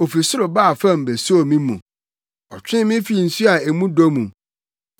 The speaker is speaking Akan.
Ofi soro baa fam besoo me mu; ɔtwee me fii nsu a mu dɔ mu.